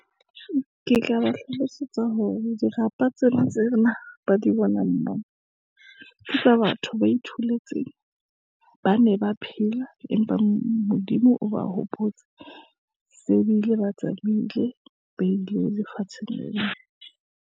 Ke tla ba hlalosetsa hore dirapa tsena ba di bonang moo. Ke tsa batho, ba itholetse, ba ne ba phela, empa Modimo o ba hopotsa, se bile ba tsamaile, ba ile lefatsheng le la.